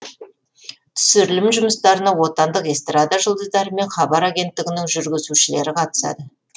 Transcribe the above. түсірілім жұмыстарына отандық эстрада жұлдыздары мен хабар агенттігінің жүргізушілері қатысады